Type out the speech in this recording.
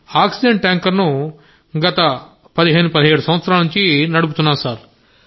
oxygen tanker ను 15 17 సంవత్సరాల నుండి నడుపుతున్నాను సార్